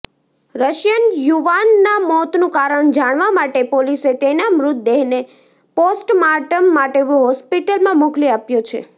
Russian યુવાનના મોતનુ કારણ જાણવા માટે પોલીસે તેના મૃતદેહને પોસ્ટમાર્ટમ માટે હોસ્પિટલમાં મોકલી આપ્યો છે